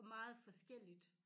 Og meget forskelligt